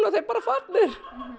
þau bara farnir